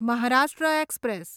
Maharashtra express